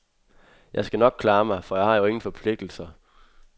Jeg skal nok klare mig, for jeg har jo ingen forpligtelser.